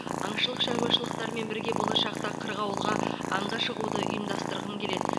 аңшылық шаруашылықтарымен бірге болашақта қырғауылға аңға шығуды ұйымдастырғым келеді